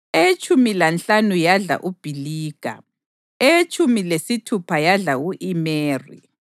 eyetshumi lanhlanu yadla uBhiliga, eyetshumi lesithupha yadla u-Imeri,